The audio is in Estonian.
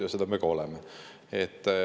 Ja seda me oleme.